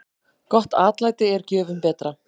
Gott atlæti er gjöfum betra.